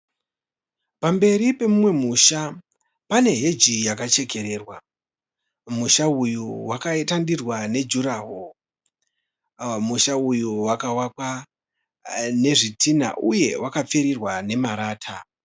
Pamberi pemumwe musha pane heji yakachekererwa . Musha uyu wakaitandirwa nedurawall . Musha uyu wakavakwa nezvitinha uye wakapfirirwa nemarata .